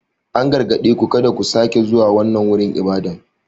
An gargaɗe ku "kada ku sake zuwa wannan wurin ibada!"